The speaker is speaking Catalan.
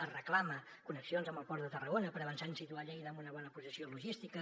es reclamen connexions amb el port de tarragona per avançar en situar lleida en una bona posició logística